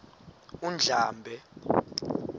undlambe